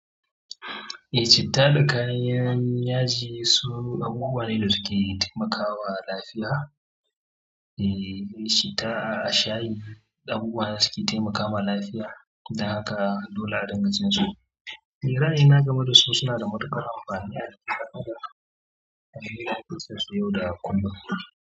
Eh, citta da kayan yaji su abubuwa ne da suke taimakawa lafiya. Eh citta, shayi abubuwa da suke taimakama lafiya don haka dole a dinga cin su. Ra'ayi na game da su suna da matuƙar amfani a jikin ɗan adam.